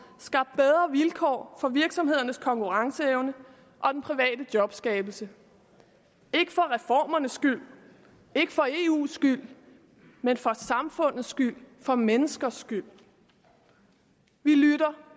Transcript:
skabt bedre vilkår for virksomhedernes konkurrenceevne og den private jobskabelse ikke for reformernes skyld ikke for eus skyld men for samfundets skyld for menneskers skyld vi lytter